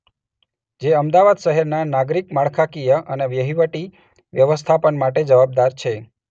જે અમદાવાદ શહેરના નાગરિક માળખાકીય અને વહીવટી વ્યવસ્થાપન માટે જવાબદાર છે.